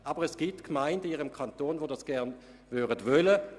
Aber es gibt Gemeinden in Ihrem Kanton, welche dies gern möchten.